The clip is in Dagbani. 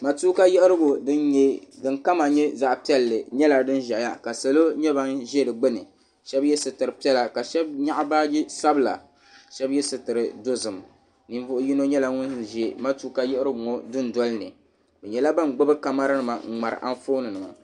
Matuuka yiɣirigu di ni kama yɛ zaɣi piɛlli yɛla dini zɛya ka salo yɛ ba ni zi di gbuni shɛba yiɛ sitira piɛla ka Shɛbi yɛɣi baaji sabila shɛbi yiɛ sitira dozim ninvuɣi yino yɛla ŋuni zi Matuuka yiɣirigu ŋɔ du noli ni bi yɛla ban gbubi kamara nima n mŋahiriba Anfooni nima